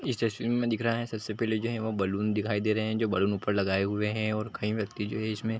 इस तस्वीर में दिख रहा है सबसे पहले जो है वो बैलून दिखाई दे रहें हैं जो बलून ऊपर लगाए हुए हैं और कई व्यक्ति जो है इसमें --